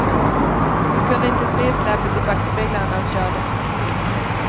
Hon kunde inte se släpet i backspeglarna när hon körde.